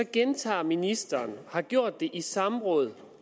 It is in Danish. gentager ministeren og har gjort det i samrådet